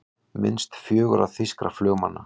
Minnast fjögurra þýskra flugmanna